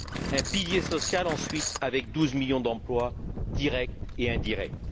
un pilier social, ensuite, avec douze millions d'emplois directs et indirects